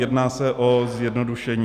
Jedná se o zjednodušení.